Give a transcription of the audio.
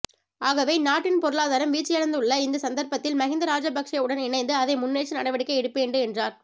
ஆகவே நாட்டின் பொருளாதாரம் வீழ்ச்சியடைந்துள்ள இந்த சந்தர்ப்பத்தில் மஹிந்த ராஜபக்ஷவுடன் இணைந்து அதை முன்னேற்ற நடவடிக்கை எடுப்பேன்டு என்றார்